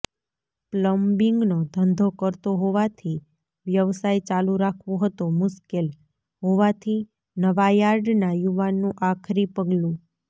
પ્લમ્બિંગનો ધંધો કરતો હોવાથી વ્યવસાય ચાલુ રાખવો હતો મુશ્કેલ હોવાથી નવાયાર્ડના યુવાનનું આખરી પગલુ